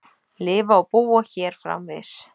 Lifa og búa hér framvegis.